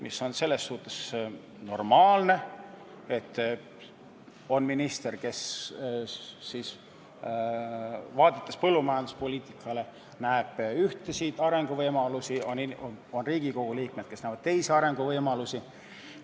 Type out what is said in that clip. See on selles suhtes normaalne, et on minister, kes põllumajanduspoliitikat vaadates näeb ühtesid arenguvõimalusi, ja on Riigikogu liikmed, kes näevad teisi arenguvõimalusi.